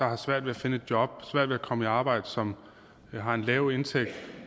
har svært at komme i arbejde og som har en lav indtægt